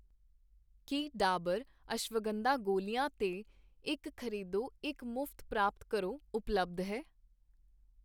ਕੀ ਡਾਬਰ, ਅਸ਼ਵਗੰਧਾ ਗੋਲੀਆਂ 'ਤੇ ਇੱਕ ਖ਼ਰੀਦੋ ਇੱਕ ਮੁਫਤ ਪ੍ਰਾਪਤ ਕਰੋ' ਉਪਲੱਬਧ ਹੈ?